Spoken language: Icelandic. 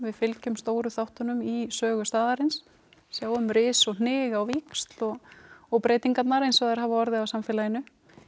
fylgjum stóru þáttunum í sögu staðarins sjáum ris og hnig á víxl og og breytingarnar eins og þær hafa orðið á samfélaginu